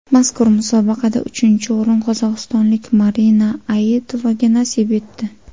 Mazkur musobaqada uchinchi o‘rin qozog‘istonlik Marina Aitovaga nasib etdi.